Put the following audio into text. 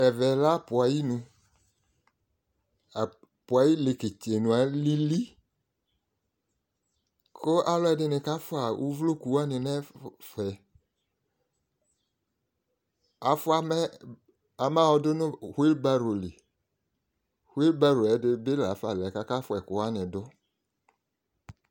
Ɛvɛ lɛ apʋ ay'inu : apʋ ay'iieketsenu alili ; kʋ alʋɛdɩnï ka fʋa uvloku wanɩ n'ɛfɛ Afʋa mɛ amayɔ dʋ nʋ huebaru ; huebarue ɛdɩ bɩ lafa lɛ k' aka fʋa ɛkʋ wanï dʋ